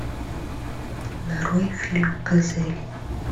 нарой фильм газели